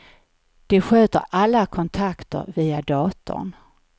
De sköter alla kontakter via datorn.